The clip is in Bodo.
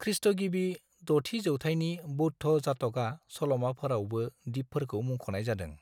खृ.गिबि 6थि जौथाइनि बौद्ध जात'का सल'माफोरावबो दिपफोरखौ मुंख'नाय जादों।